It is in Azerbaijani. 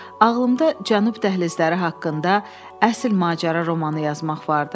Ağlımda cənub dəhlizləri haqqında əsl macəra romanı yazmaq vardı.